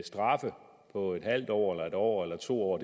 straffe på en halv år en år eller to år